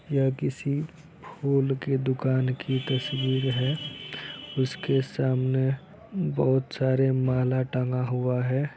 यह किसी फूल की दूकान की तस्वीर है उसके सामने बहुत सारा माला टंगा हुआ है।